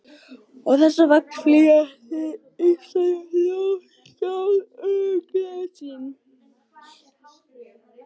Og þess vegna flýr hið íslenska ljóðskáld örlög sín.